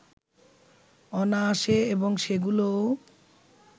অনায়াসে এবং সেগুলোও